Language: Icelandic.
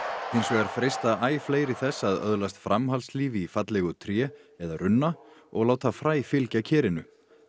hins vegar freista æ fleiri þess að öðlast framhaldslíf í fallegu tré eða runna og láta fræ fylgja kerinu en